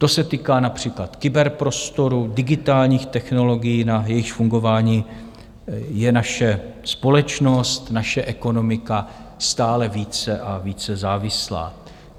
To se týká například kyberprostoru, digitálních technologií, na jejichž fungování je naše společnost, naše ekonomika stále více a více závislá.